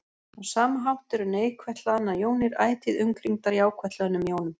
Á sama hátt eru neikvætt hlaðnar jónir ætíð umkringdar jákvætt hlöðnum jónum.